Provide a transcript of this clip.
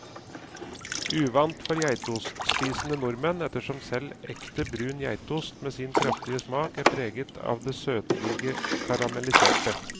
Uvant for geitostspisende nordmenn, ettersom selv ekte brun geitost med sin kraftige smak er preget av det søtlige karamelliserte.